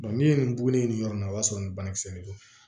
n'i ye nin bugun ye yɔrɔ min na o y'a sɔrɔ nin banakisɛ de do